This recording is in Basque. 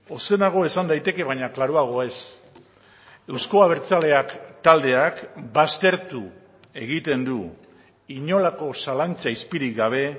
ozenago esan daiteke baina klaruago ez euzko abertzaleak taldeak baztertu egiten du inolako zalantza izpirik gabe